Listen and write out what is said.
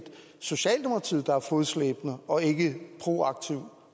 socialdemokratiet der er fodslæbende og ikke proaktiv